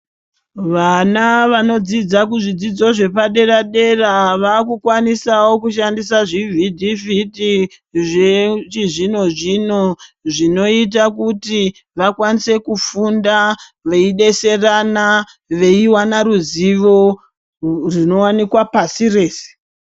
Vana vanodzidza kuzvidzidzo zvepaderadera vakukwanisawo kushandisa zvivhitivhiti zvechi zvino zvino zvinoita kuti vakwanise kufunda veidetserana veiwana ruzvivo zvinowanikwa pasi rese.